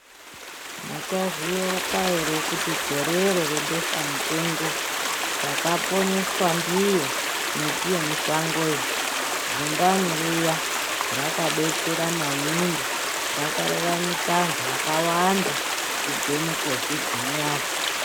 Muchazviyeuka ere kuti gorero rebeshamupengo, takaponeswa ndiyo miti yemushango iyi? Zumbani riya rakadetsera maningi rakararamisa antu akawanda kubve muKovhidhi muyani.